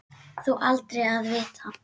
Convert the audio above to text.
Þó aldrei að vita.